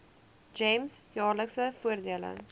gems jaarlikse voordele